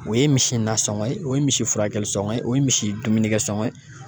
O ye misi nasɔngɔ ye, o ye misi furakɛli sɔngɔ ye, o ye misi dumuni dumunikɛ sɔngɔ ye.